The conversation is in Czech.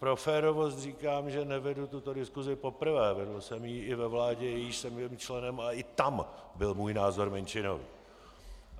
Pro férovost říkám, že nevedu tuto diskusi poprvé, vedl jsem ji i ve vládě, jíž jsem byl členem, a i tam byl můj názor menšinový.